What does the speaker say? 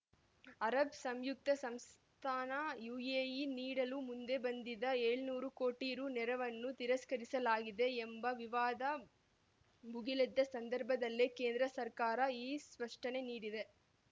Arab ಸಂಯುಕ್ತ ಸಂಸ್ಥಾನ UAE ನೀಡಲು ಮುಂದೆ ಬಂದಿದ್ದ ಏಳುನೂರು ಕೋಟಿ ರು ನೆರವನ್ನು ತಿರಸ್ಕರಿಸಲಾಗಿದೆ ಎಂಬ ವಿವಾದ ಭುಗಿಲೆದ್ದ ಸಂದರ್ಭದಲ್ಲೇ ಕೇಂದ್ರ ಸರ್ಕಾರ ಈ ಸ್ಪಷ್ಟನೆ ನೀಡಿದೆ